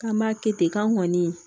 K'an b'a kɛ ten k'an kɔni